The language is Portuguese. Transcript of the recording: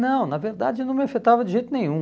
Não, na verdade não me afetava de jeito nenhum.